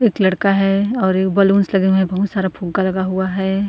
एक लड़का है और एक बलूंस लगे हुए बहुत सारे फुग्गा लगा हुआ है।